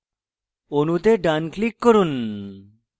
অণুতে ডান click করুন